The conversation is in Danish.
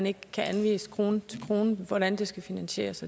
ikke kan anvise krone til krone hvordan det skal finansieres